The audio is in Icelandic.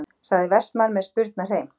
sagði Vestmann með spurnarhreim.